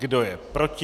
Kdo je proti?